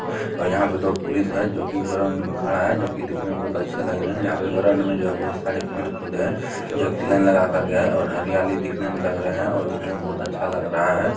और यहाँ पर दो पुलिस है जो की ग्राउंड में खड़ा है जो की दिखने में बहुत अच्छे लग रहे है यहाँ पे ग्राउंड जो है बहुत सारे पेड़-पौधे है जो की लाइन लगाके के गए है और हरियाली दिखने में लग रहे है और दिखने में बहुत अच्छा लग रहा है।